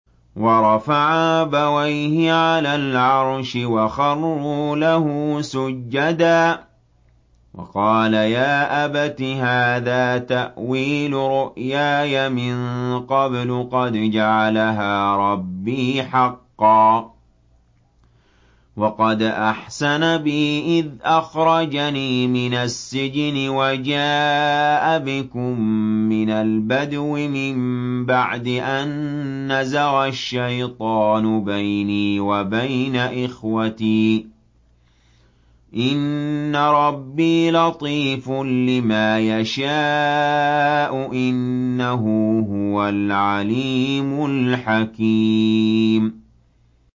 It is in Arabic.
وَرَفَعَ أَبَوَيْهِ عَلَى الْعَرْشِ وَخَرُّوا لَهُ سُجَّدًا ۖ وَقَالَ يَا أَبَتِ هَٰذَا تَأْوِيلُ رُؤْيَايَ مِن قَبْلُ قَدْ جَعَلَهَا رَبِّي حَقًّا ۖ وَقَدْ أَحْسَنَ بِي إِذْ أَخْرَجَنِي مِنَ السِّجْنِ وَجَاءَ بِكُم مِّنَ الْبَدْوِ مِن بَعْدِ أَن نَّزَغَ الشَّيْطَانُ بَيْنِي وَبَيْنَ إِخْوَتِي ۚ إِنَّ رَبِّي لَطِيفٌ لِّمَا يَشَاءُ ۚ إِنَّهُ هُوَ الْعَلِيمُ الْحَكِيمُ